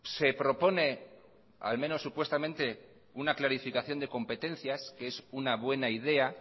se propone al menos supuestamente una clarificación de competencias que es una buena idea